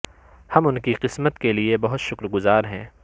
ہم ان کی قسمت کے لئے بہت شکر گزار ہیں